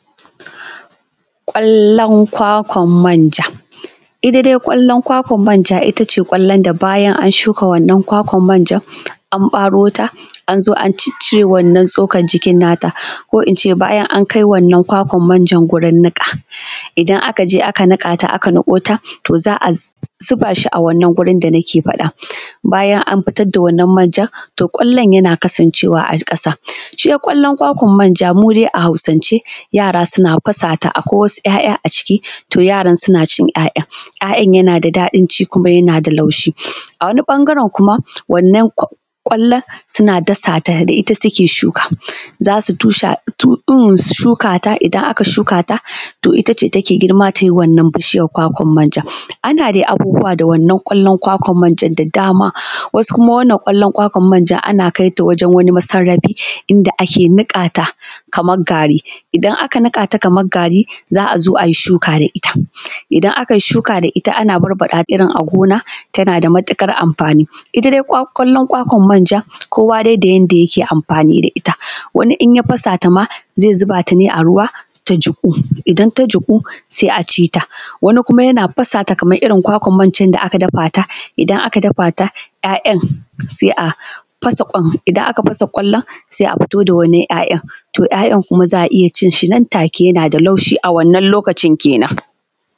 Kwallon kwakwan manja ita dai kwallon manja ita ne kwallon da bayan an shuka wannan kwakwan manjan an ɓaro ta, an zo an ciccire wannan tsukan jikin nata ko in ce bayan an kai wannan kwakwan manjan gurin niƙa. Idan aka je aka niƙa ta aka niƙo ta to za a zuba shi. A wannan wurin da ake faɗa bayan an fitar da wannan manjan to kwallon yana kasancewa a ƙasan, ita dai kwakwan manja mu dai a Hausance yara suna fasa ta, akwai wasu ‘ya’ya a ciki to yaran suna cin ‘ya’yan, ‘ya’yan yana da daɗin ci kumaa yana da laushi a wani ɓagaren kuma wannan kwallon suna dafa ta ne, ita suke shuka za su shuka ta, idan aka shuka ta, to ita ne take girma ta yi bishiyar kwakwan manja ana dai abubuwa da wannan kwallo kwakwan manjan da dama wasu kuma wannan kwakwan manjan ana kai ta wajen wasu masarrafi, inda ake niƙa ta kamar gari idan aka niƙa ta kaman gari za a zo a yi shuka da shi idan aka shuka da ita ana fara ba ɗata iri na gona yana da matuƙar amfani ita dai kwallon kwakwan manjan kowa dai da yanda yake amfani da ita. Wani in ya fasa ta ma ze zuba ta ne a ruwa ya jiƙu idan ta jiƙu se a ci ta kuma yana fasa ta irin na kwakwan manjan da aka dafa ta, idan aka dafa ta ‘ya’yan se a fasa kwan, idan aka fasa kwallon se a fito da wani ‘ya’yan to ‘ya’yan kuma za a iya cin shi nan da nan take yana da laushi a wannan lokacin kenan.